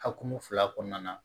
Hakuru fila kɔnɔna na